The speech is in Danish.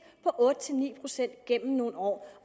på otte ni procent gennem nogle år